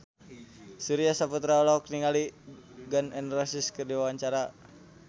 Surya Saputra olohok ningali Gun N Roses keur diwawancara